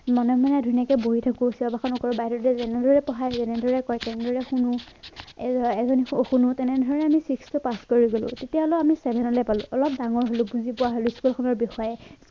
মনে মনে ধুনীয়াকে বহি থাকো চিঞৰ বাখৰ নকৰো বাইদেউহঁতে যেনেদৰে পঢ়াই তেনেদৰে কয় তেনেদৰে শুনো তেনেদৰে আমি six টো পাছ কৰি গলো তেতিয়া হলেও আমি seven লে পালো অলপ ডাঙৰ হলো বুজি পোৱা হলো school খনৰ বিষয়ে